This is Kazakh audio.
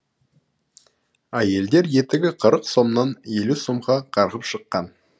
әйелдер етігі қырық сомнан елу сомға қарғып шыққан